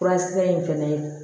Furakisɛ in fɛnɛ